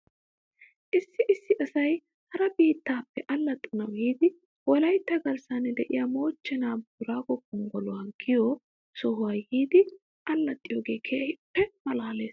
Issi issi asay hara biittappe allaxxanaw yiidi wolaytta garssan de'iyaa moochchenaa booraago gonggoluwaa giyoo sohuwaa yiidi allaxiyoogee keehippe malaales .